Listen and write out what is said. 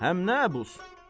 Həm nə əbus?